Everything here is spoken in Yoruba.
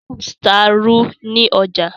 Rufus ta ìrù ní ọjà